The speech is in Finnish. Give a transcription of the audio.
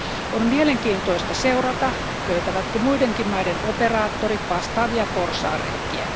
On mielenkiintoista seurata, löytävätkö muidenkin maiden operaattorit vastaavia porsaanreikiä.